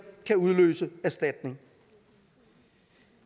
kan udløse erstatning